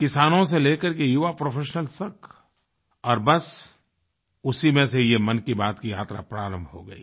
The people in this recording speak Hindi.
किसानों से लेकर के युवा प्रोफेशनल्स तक और बस उसी में से ये मन की बात की यात्रा प्रारंभ हो गयी